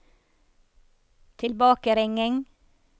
tilbakeringing